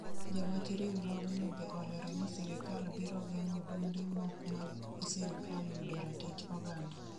Jawach riurogno be olero ni sirikal biro geng'o duonde mok mag sirikal yudo ratich oganda